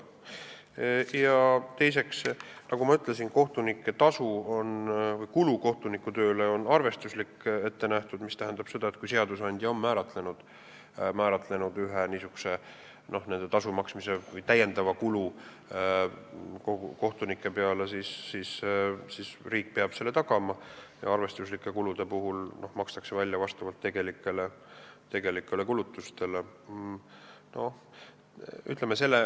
Teiseks, nagu ma ütlesin, kohtunike tasu või kohtunike töö tõttu tekkiv kulu on arvestuslikult ette nähtud, mis tähendab, et kui seadusandja on kindlaks määranud ühe tasu või lisakulu kohtunike jaoks, siis riik peab selle tagama, ja arvestuslikud kulud makstakse välja vastavalt tegelikele kulutustele.